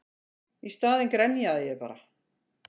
Í staðinn grenjaði ég bara.